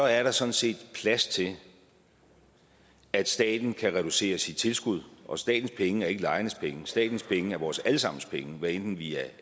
er der sådan set plads til at staten kan reducere sit tilskud og statens penge er ikke lejernes penge statens penge er vores alle sammens penge hvad enten vi er